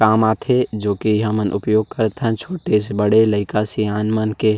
काम आथे जो की हमन उपयोग करथन छोटे से बड़े लइका सियान मन के--